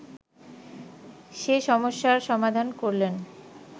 সে সমস্যার সমাধান করলেন